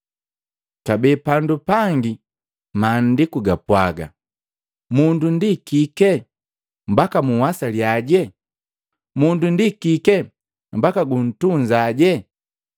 Kabee pandu pangi Maandiku gapwaga: “Mundu ndi kike, mbaka unhwasaliyaje; mundu ndi kike mbaka guntunzaje?